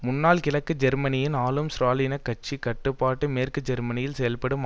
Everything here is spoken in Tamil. முன்னாள் கிழக்கு ஜெர்மனியின் ஆளும் ஸ்ராலினிச கட்சிக்கு கட்டுப்பட்டு மேற்கு ஜெர்மனியில் செயல்படும்